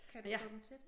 Kan u få dem til det?